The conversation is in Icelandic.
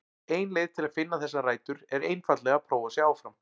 Ein leið til að finna þessar rætur er einfaldlega að prófa sig áfram.